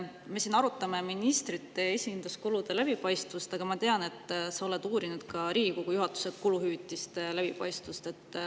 Me siin arutame ministrite esinduskulude läbipaistvust, aga ma tean, et sa oled uurinud ka Riigikogu juhatuse kuluhüvitiste läbipaistvust.